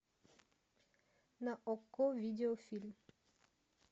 на окко видеофильм